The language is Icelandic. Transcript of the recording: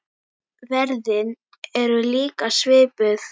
Verðin eru líka svipuð.